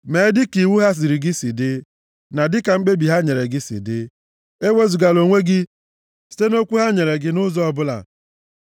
Mee dịka iwu ha ziri gị si dị, na dịka mkpebi ha nyere gị si dị. Ewezugala onwe gị site nʼokwu ha nyere gị nʼụzọ ọbụla